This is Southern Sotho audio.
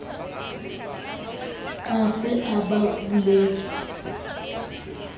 a se a ba buletse